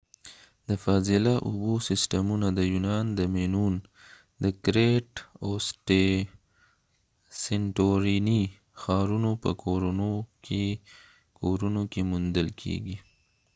د فاضله اوبو سیسټمونه د یونان د مینون د کرېټ او سنټوریني crete and santorini ښارونو په کورونو کې موندل کېږي